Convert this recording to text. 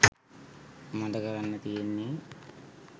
මට කරන්න තියෙන්නෙ.